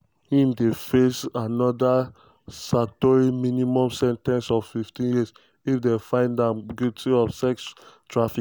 im dey face anoda statutory minimum sen ten ce of 15 years if dem find am guilty of sex trafficking.